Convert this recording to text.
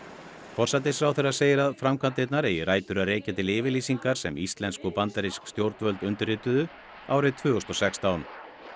forsætisráðherra segir að framkvæmdirnar eigi rætur að rekja til yfirlýsingar sem íslensk og bandarísk stjórnvöld undirrituðu árið tvö þúsund og sextán